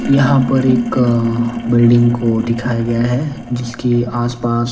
यहां पर एक अं बिल्डिंग को दिखाया गया है जिसके आसपास--